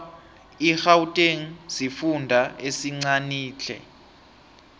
igauteng sifunda esincanitle